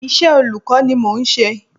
Iṣẹ́ olùkọ́ ni mò ń ṣe.